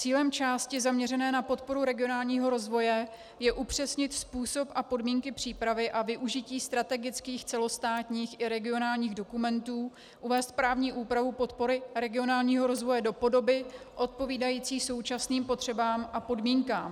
Cílem části zaměřené na podporu regionálního rozvoje je upřesnit způsob a podmínky přípravy a využití strategických celostátních i regionálních dokumentů, uvést právní úpravu podpory regionálního rozvoje do podoby odpovídající současným potřebám a podmínkám.